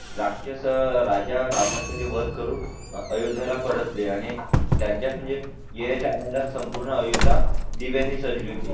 राक्षस राजा रावणाचा वध करून अयोध्याला परतले आणि त्यांच्यास म्हणजे येण्यात संपूर्ण अयोध्या दिव्यांनी सजविले